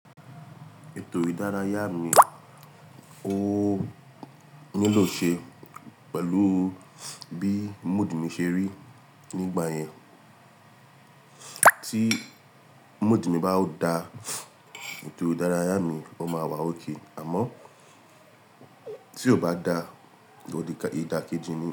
Ètò ìdárayá mi ó nílò ṣe pẹ̀lú bí mood mi ṣe rí nígbà yẹn. Tí mood mi bá da, ètò ìdárayá mi ó máa wà okay, àmọ́ tí ó bá da, i da ìdà kejì ni.